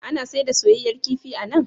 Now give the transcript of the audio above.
Ana sayar da soyayyen kifi a nan?